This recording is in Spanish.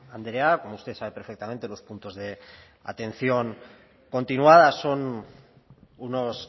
andrea como usted sabe perfectamente los puntos de atención continuada son unos